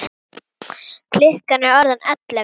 Klukkan er orðin ellefu.